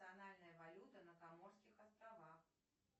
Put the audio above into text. национальная валюта на каморских островах